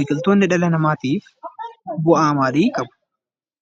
Biqiltoonni dhala namaatiif bu'aa maalii qabu?